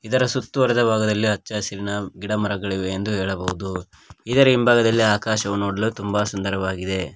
ಇದರ ಸುತ್ತು ಹೊಡೆದ ಭಾಗದಲ್ಲಿ ಹಚ್ಚ ಹಸಿರಿನ ಗಿಡಮರಗಳಿವೆ ಎಂದು ಹೇಳಬಹುದು ಇದರ ಹಿಂಭಾಗದಲ್ಲಿ ಆಕಾಶವು ನೋಡಲು ತುಂಬ ಸುಂದರವಾಗಿದೆ.